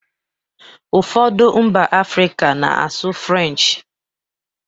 Ụfọdụ mba Africa na-asụ French